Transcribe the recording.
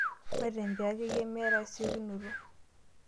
maitembea akeyie meeta esiokinoto.